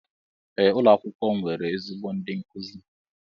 Ee ụlọ akwụkwọ m nwere ezigbo ndi nkuzi.